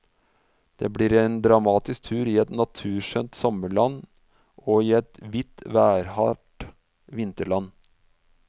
Det blir en dramatisk tur i et naturskjønt sommerland og i et hvitt, værhardt vinterland.